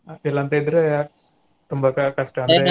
ಇಲಂತಿದ್ರೆ ತುಂಬಾ ಕಷ್ಟ .